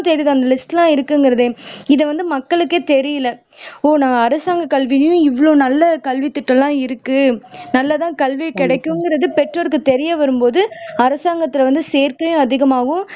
தெரியுது அந்த லிஸ்ட் எல்லாம் இருக்குங்கிறதே இதை வந்து மக்களுக்கே தெரியல ஓ நான் அரசாங்க கல்வியும் இவ்வளவு நல்ல கல்வித்திட்டம் எல்லாம் இருக்கு நல்லதா கல்வி கிடைக்குங்கிறது பெற்றோர்க்கு தெரிய வரும்போது அரசாங்கத்துல வந்து சேர்க்கையும் அதிகம் ஆகும்